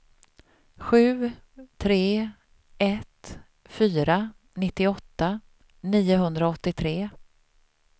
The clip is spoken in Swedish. sju tre ett fyra nittioåtta niohundraåttiotre